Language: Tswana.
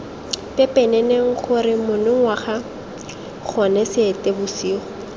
pepeneneng gore monongwaga gone seetebosigo